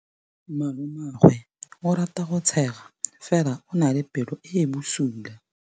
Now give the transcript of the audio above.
Malomagwe o rata go tshega fela o na le pelo e e bosula.